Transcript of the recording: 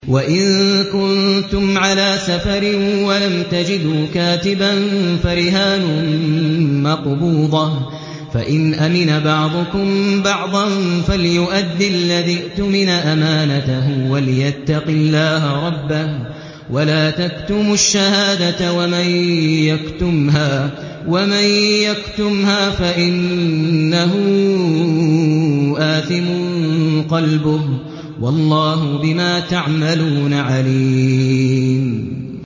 ۞ وَإِن كُنتُمْ عَلَىٰ سَفَرٍ وَلَمْ تَجِدُوا كَاتِبًا فَرِهَانٌ مَّقْبُوضَةٌ ۖ فَإِنْ أَمِنَ بَعْضُكُم بَعْضًا فَلْيُؤَدِّ الَّذِي اؤْتُمِنَ أَمَانَتَهُ وَلْيَتَّقِ اللَّهَ رَبَّهُ ۗ وَلَا تَكْتُمُوا الشَّهَادَةَ ۚ وَمَن يَكْتُمْهَا فَإِنَّهُ آثِمٌ قَلْبُهُ ۗ وَاللَّهُ بِمَا تَعْمَلُونَ عَلِيمٌ